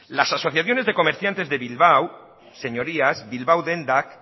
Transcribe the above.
las asociaciones de comerciantes de bilbao señorías bilbao dendak